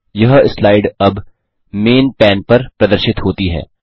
यह स्लाइल अब main pane पर प्रदर्शित होती है